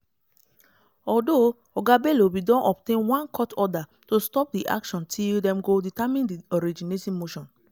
one scheduled court session for di arraignment of yahaya bello bin go ahead on thursday april 18 but e no show for court.